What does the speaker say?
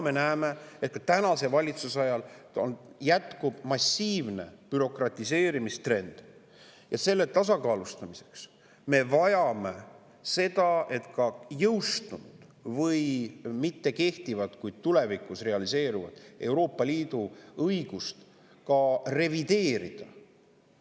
Me näeme, et ka praeguse valitsuse ajal jätkub massiivse bürokratiseerimise trend, ja selle tasakaalustamiseks me vajame seda, et ka jõustunud või mittekehtivat, kuid tulevikus realiseeruvat Euroopa Liidu õigust revideerida.